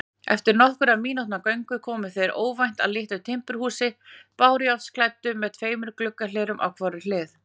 Eftir nokkurra mínútna göngu komu þeir óvænt að litlu timburhúsi, bárujárnsklæddu með tveimur gluggahlerum á hvorri hlið.